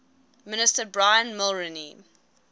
minister brian mulroney